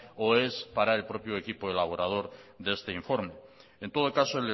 o es para el propio equipo elaborador de este informe en todo caso